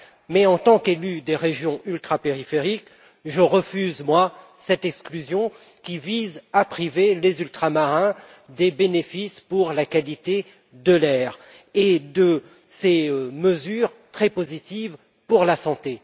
Mais, en tant qu'élu des régions ultrapériphériques, je refuse cette exclusion qui vise à priver les ultramarins de bénéfices en matière de qualité de l'air et de ces mesures très positives pour la santé.